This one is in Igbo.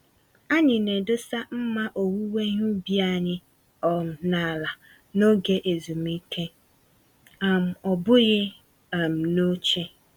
Anyị na-edosa mma owuwe ihe ubi anyị um n'ala n'oge ezumike - um ọ bụghị um n'oche.